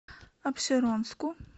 апшеронску